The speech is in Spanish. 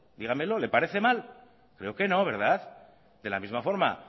dígamelo le parece mal creo que no verdad de la misma forma